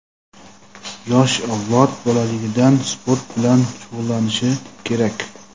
Yosh avlod bolaligidan sport bilan shug‘ullanishi kerak.